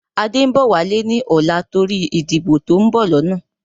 Adé ń bọ̀ wálé ni ọ̀la torí ìdìbò to ń bọ̀ lọ́nà